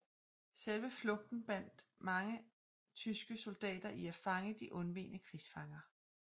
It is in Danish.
Selve flugten bandt mange tyske soldater i at fange de undvegne krigsfanger